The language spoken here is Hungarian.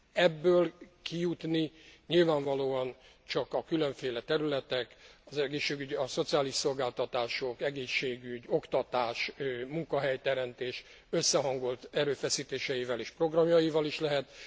Ebből kijutni nyilvánvalóan csak a különféle területek a szociális szolgáltatások, egészségügy, oktatás, munkahelyteremtés összehangolt erőfeszítéseivel és programjaival is lehet.